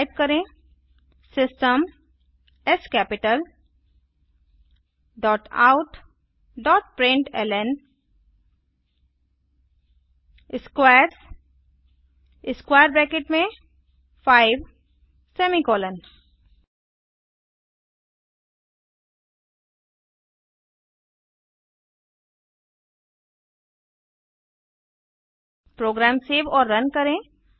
type करें system S capitaloutprintlnस्क्वेयर्स 5 program save और रन करें